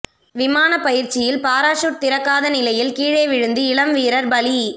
விமான பயிற்சியில் பாராசூட் திறக்காத நிலையில் கீழே விழுந்து இளம் வீரர் பலி